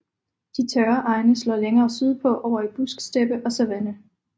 De tørre egne slår længere sydpå over i busksteppe og savanne